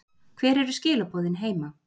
Hver eru skilaboðin heima?